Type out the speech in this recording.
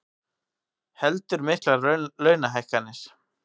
Heldur miklar launahækkanir